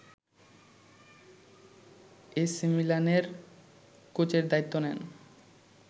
এসিমিলানের কোচের দায়িত্ব নেন